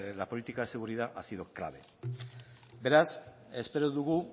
la política de seguridad ha sido clave beraz espero dugu